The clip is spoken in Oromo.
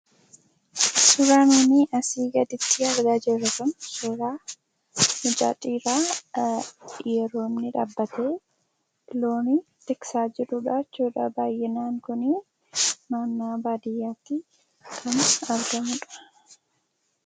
Suuraan nuti asii gaditti argaa jirru kun suuraa mucaa xiqqaa yeroo inni dhaabbatee loon eegaa jirudha. Kan arginu kun mucaa baadiyyaati.